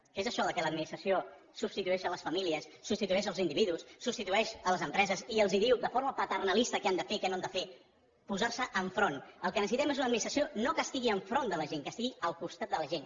què és això que l’administració substitueixi les famílies substitueixi els individus substitueixi les empreses i els digui de forma paternalista què han de fer què no han de fer posar s’hi enfront el que necessitem és una administració no que estigui enfront de la gent que estigui al costat de la gent